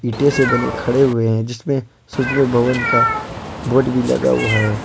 इंटे से बने खड़े हुए हैं जिसमें सूचना भवन का बोर्ड भी लगा हुआ है।